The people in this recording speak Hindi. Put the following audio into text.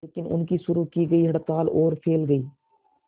लेकिन उनकी शुरू की गई हड़ताल और फैल गई